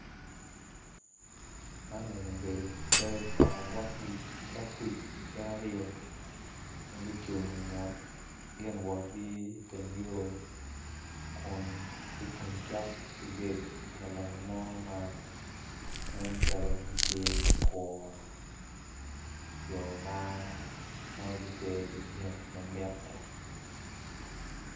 Man eni obedo cal pa ogwok kuc gin aryo ma gucung inget gin wotgi iteng yo kun gucung ki gate pa lalonyo mo ma ma nen calo gitye ka kuro jo ma nen gipe ki gin ma mitte.